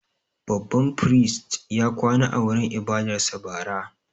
Babban firist ya kwana a wurin ibadarsa bara.